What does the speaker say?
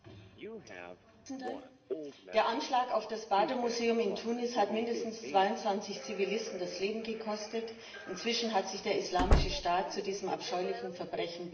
Herr Präsident! Der Anschlag auf das Bardo Museum in Tunis hat mindestens 22 Zivilisten das Leben gekostet. Inzwischen hat sich der Islamische Staat zu diesem abscheulichen Verbrechen bekannt.